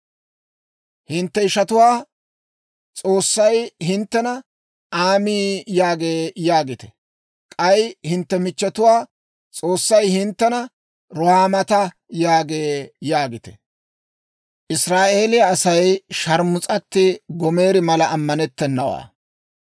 «Hintte ishatuwaa, S'oossay hinttena, ‹Aami (ta asaa giyaawaa) yaagee› yaagite. K'ay hintte michchetuwaa, S'oossay hinttena, ‹Ruhaamaata (hinttenttoo k'aretay giyaawaa) yaagee› yaagite.